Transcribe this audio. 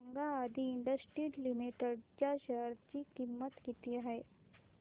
सांगा Adi industries limited च्या share ची किंमत किती आहे